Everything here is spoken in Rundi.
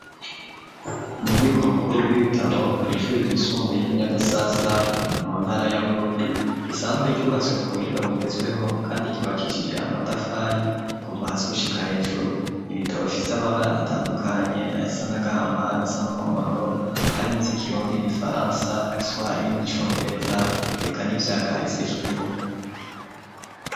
umubiko bukuru bw'ibitabo ku ishuri ryisumbuye ryi Nyagasasa mu ntara ya Bururi risanzwe ryubatswe ku buhinga bugezweho . Kandi ryibakishije amatafari kuva hasi gushika hejuru ibitabo ifite amabara atandukanye aya sanagahama ayasa n'umuhondo .harimo ivyi kirundi gifaransa iswaha ibin'icongereza reka n'ivya kahise kigihugu.